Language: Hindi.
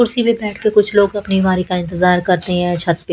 कुर्सी पर बैठ के कुछ लोग अपनी बीमारी का इंतजार करते हैं छत पे --